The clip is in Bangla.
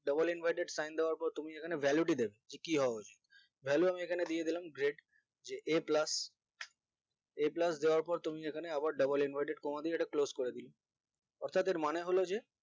double inverted sign দেওয়ার পর তুমি যেখানে value দিলে যে এখানে কি হবে এখানে value আমি এখানে দিয়ে দিলাম grade যে a plus a plus দেওয়ার পর তুমি এখানে আবার double inverted দিয়ে এটা close করে দিলে অর্থাৎ এর মানে হলো যে